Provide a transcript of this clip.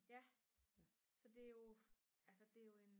ja så det er jo altså det er jo en